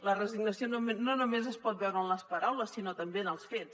la resignació no només es pot veure en les paraules sinó també en els fets